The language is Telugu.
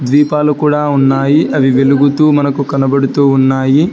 దీపాలు కూడా ఉన్నాయి అవి వెలుగుతూ మనకు కనబడుతూ ఉన్నాయి.